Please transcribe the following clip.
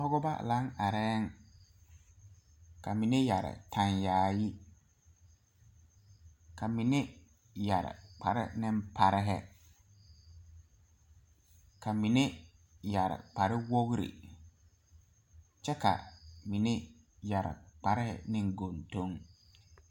Pɔgeba laŋ arɛɛŋ ka mine yɛre tan yaayi ka mine yɛre kpare ne parehi ka mine yɛre kpare wogre kyɛ ka mine yɛre kparehi neŋ goŋdoŋ.